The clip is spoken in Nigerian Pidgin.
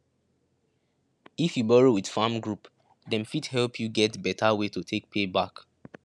if you borrow with farm group dem fit help you get better way to take pay back